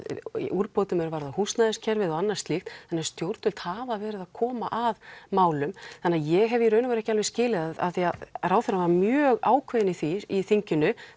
úrbótum er varða húsnæðiskerfið og annað slíkt þannig að stjórnvöld hafa verið að koma að málum ég hef í raun og veru ekki alveg skilið af því að ráðherrann var mjög ákveðinn í því í þinginu